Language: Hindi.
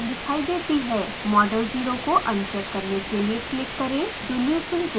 मॉडल ज़ीरो को अनचेक करने के लिए क्लिक करें जो leucine zipper को प्रदर्शित करता है